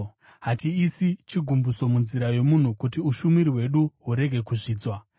Hatiisi chigumbuso munzira yomunhu, kuti ushumiri hwedu hurege kuzvidzwa.